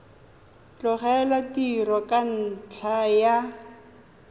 tlogela tiro ka ntlha ya